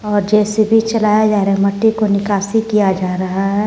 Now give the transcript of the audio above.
और जे_सी_बी चलाया जा रहा मट्टी को निकासी किया जा रहा है।